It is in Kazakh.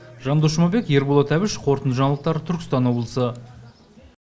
жандос жұмабек ерболат әбіш қорытынды жаңалықтар түркістан облысы